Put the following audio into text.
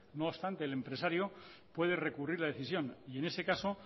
no obstante el empresario puede recurrir la decisión y en ese caso